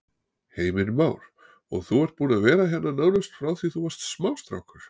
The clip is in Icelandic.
Heimir Már: Og þú ert búinn að vera hérna nánast frá því þú varst smástrákur?